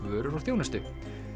vörur og þjónustu